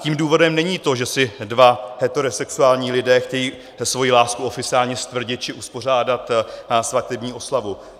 Tím důvodem není to, že si dva heterosexuální lidé chtějí svoji lásku oficiálně stvrdit či uspořádat svatební oslavu.